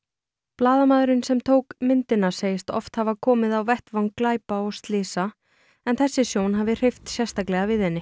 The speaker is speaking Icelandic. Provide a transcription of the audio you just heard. blaðamaðurinn sem tók myndina segist oft hafa komið á vettvang glæpa og slysa en þessi sjón hafi hreyft sérstaklega við henni